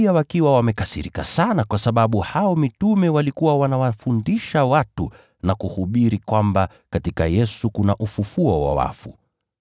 huku wakiwa wamekasirika sana kwa sababu mitume walikuwa wanawafundisha watu na kuhubiri kwamba kuna ufufuo wa wafu ndani ya Yesu.